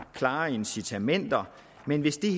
klare incitamenter men hvis det